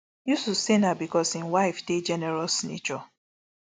yusuf say na becos im wife dey generous nature